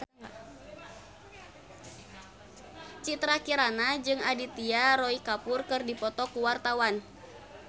Citra Kirana jeung Aditya Roy Kapoor keur dipoto ku wartawan